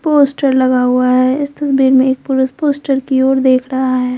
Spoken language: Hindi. पोस्टर लगा हुआ है इस तस्वीर में एक पुरुष पोस्टर की ओर देख रहा है।